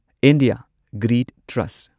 India grid trust